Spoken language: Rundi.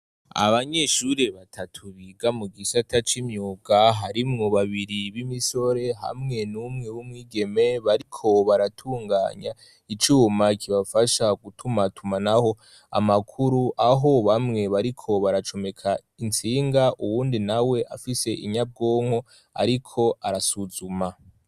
Abanyeshuri batatu biga mu gisata c'imyuka, harimwo babiri b'imisore hamwe n'umwe w'umwigeme bariko baratunganya icuma kibafasha gutumatumanaho amakuru aho bamwe bariko baracomeka intsinga uwundi nawe afise inyabwonko ariko arasuzuma.